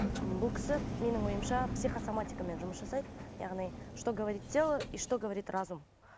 ммм бұл кісі менің ойымша психосаматикамен жұмыс жасайды яғни что говорит тело и что говорит разум